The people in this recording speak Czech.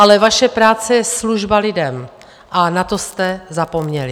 Ale vaše práce je služba lidem a na to jste zapomněli.